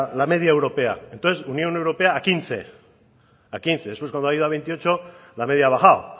la media europea entonces unión europea a quince después cuando ha ido a veintiocho la media ha bajado